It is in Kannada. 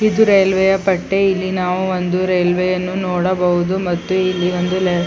ಇದು ರೈಲ್ವೆಯ ಪಟ್ಟಿ ಇಲ್ಲಿ ನಾವು ಒಂದು ರೈಲ್ವೆಯನ್ನು ನೋಡಬಹುದು ಮತ್ತು ಇಲ್ಲಿ ಒಂದು --